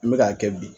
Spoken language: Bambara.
N bɛ k'a kɛ bi